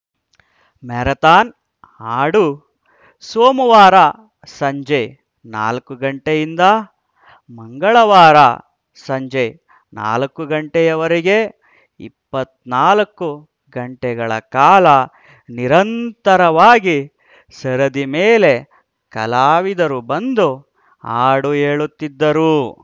marathon ಹಾಡು ಸೋಮವಾರ ಸಂಜೆ ನಾಲ್ಕು ಗಂಟೆಯಿಂದ ಮಂಗಳವಾರ ಸಂಜೆ ನಾಲ್ಕು ಗಂಟೆಯವರೆಗೆ ಇಪ್ಪತ್ತ್ ನಾಲ್ಕು ಗಂಟೆಗಳ ಕಾಲ ನಿರಂತರವಾಗಿ ಸರದಿ ಮೇಲೆ ಕಲಾವಿದರು ಬಂದು ಹಾಡು ಹೇಳುತ್ತಿದ್ದರು